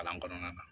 Kalan kɔnɔna na